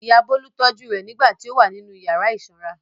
Ìyá Bólú tọ́jú rẹ̀ nígbà tí ó wà nínú ìyàrá ìsanra.